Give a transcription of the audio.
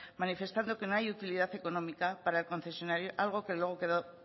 manifestando que no hay utilidad económica para concesionar algo que luego quedó